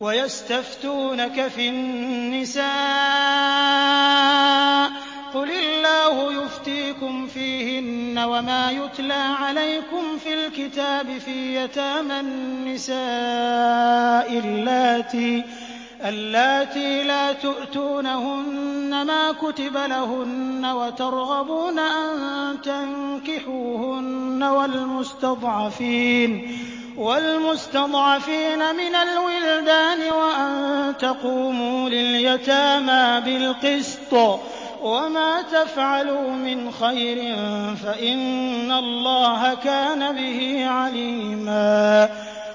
وَيَسْتَفْتُونَكَ فِي النِّسَاءِ ۖ قُلِ اللَّهُ يُفْتِيكُمْ فِيهِنَّ وَمَا يُتْلَىٰ عَلَيْكُمْ فِي الْكِتَابِ فِي يَتَامَى النِّسَاءِ اللَّاتِي لَا تُؤْتُونَهُنَّ مَا كُتِبَ لَهُنَّ وَتَرْغَبُونَ أَن تَنكِحُوهُنَّ وَالْمُسْتَضْعَفِينَ مِنَ الْوِلْدَانِ وَأَن تَقُومُوا لِلْيَتَامَىٰ بِالْقِسْطِ ۚ وَمَا تَفْعَلُوا مِنْ خَيْرٍ فَإِنَّ اللَّهَ كَانَ بِهِ عَلِيمًا